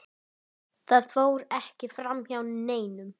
Það fór ekki framhjá neinum.